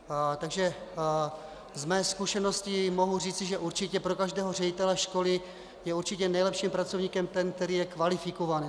Takže ze své zkušenosti mohu říci, že určitě pro každého ředitele školy je určitě nejlepším pracovníkem ten, který je kvalifikovaný.